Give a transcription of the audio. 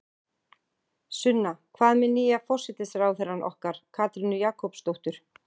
Sunna: Hvað með nýja forsætisráðherrann okkar, Katrínu Jakobsdóttur?